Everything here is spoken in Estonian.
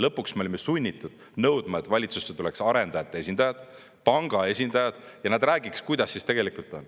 Lõpuks me olime sunnitud nõudma, et valitsusse tuleks arendajate esindajad ja panga esindajad ning nad räägiksid, kuidas siis tegelikult on.